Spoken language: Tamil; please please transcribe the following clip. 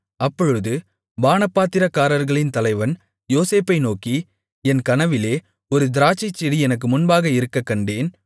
அப்பொழுது பானபாத்திரக்காரர்களின் தலைவன் யோசேப்பை நோக்கி என் கனவிலே ஒரு திராட்சைச்செடி எனக்கு முன்பாக இருக்கக்கண்டேன்